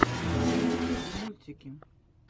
на ютьюбе мультики